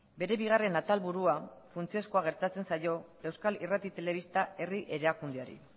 bere bigarren atalburua funtsezkoa gertatzen zaio euskal irrati telebista herri erakundeari